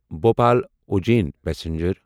Bhopal Ujjain passenger